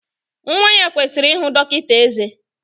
Nwa ya kwesịrị ihụ dọkịta ezé